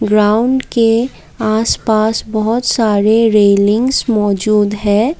Ground के आसपास बहुत सारे रेलिंग्स मौजूद हैं।